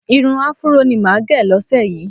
Irun Afúró ni màá gẹ̀ lọ́sẹ̀ yìí